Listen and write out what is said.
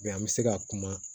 an bɛ se ka kuma